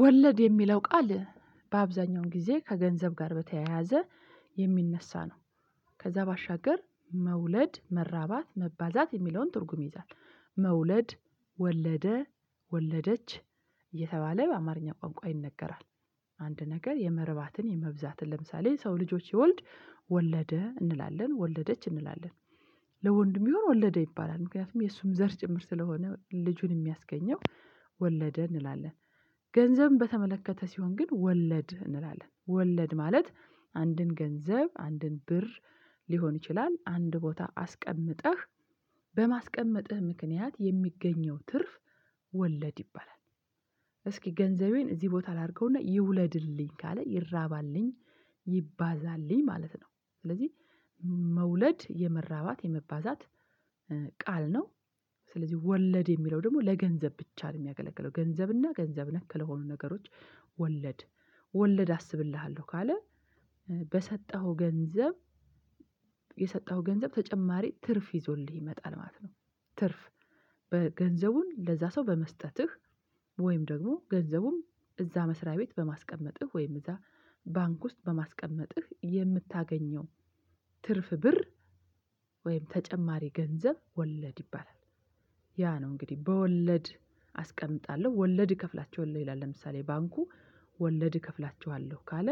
ወለድ የሚለው ቃል በአብዛኛውን ጊዜ ከገንዘብ ጋር በተያያዘ የሚነሳ ነው። ከዛ ባሻገር መውለድ መራባት መባዛት የሚለውን ትርጉም ይይዛል። መውለድ ወለደ ወለደች እየተባለ በአማርኛ ቋንቋ ይነገራል። አንድ ነገር የመርባትን የመብዛትን ለምሳሌ ሰው ልጆች ሲወልድ ወለደ እንላለን ወለደች እንላለን። ለወንድ ቢሆን ወለደ ይባላል ምክንያቱም የእሱም ዘር ጭምር ስለሆነ ልጁን የሚያስገኘው ወለደ እንላለን። ገንዘብ በተመለከተ ሲሆን ግን ወለድ እንላለን ወለድ ማለት አንድን ገንዘብ አንድን ብር ሊሆን ይችላል አንድ ቦታ አስቀምጠህ በማስቀመጥህ ምክንያት የሚገኘው ትርፍ ወለድ ይባላል። እስኪ ገንዘቤን እዚህ ቦታ ላድርገውና ይውለድልኝ ካለ ይራባልኝ ይባዛልኝ ማለት ነው ስለዚህ መውለድ የመራባት የመባዛት ቃል ነው። ስለዚህ ወለድ የሚለው ደግሞ ለገንዘብ ብቻ ነው የሚያገለግለው ገንዘብና ገንዘብ ነክ ለሆኑ ነገሮች ወለድ ወለድ አስብልሃለሁ ካለ በሰጠኸው ገንዘብ የሰጠኸው ገንዘብ ተጨማሪ ትርፍ ይዞልህ ይመጣል ማለት ነው። ትርፍ በገንዘቡን ለዛ ሰው በመስጠትህ ወይም ደግሞ ገንዘቡም እዛ መስሪያ ቤት በማስቀመጥህ ወይም እዛ ባንክ ውስጥ በማስቀመጥህ የምታገኘው ትርፍ ብር ወይም ተጨማሪ ገንዘብ ወለድ ይባላል። ያ ነው እንግዲህ በወለድ አስቀምጣለሁ ወለድ እከፍላችኋለሁ ይላል ለምሳሌ ባንኩ ወለድ እከፍላችኋለሁ ካለ